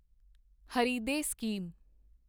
Hriday scheme